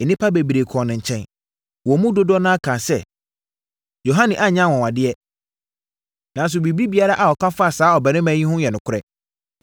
Nnipa bebree kɔɔ ne nkyɛn. Wɔn mu dodoɔ no ara kaa sɛ, “Yohane anyɛ anwanwadeɛ, nanso biribiara a ɔka faa saa ɔbarima yi ho no yɛ nokorɛ.”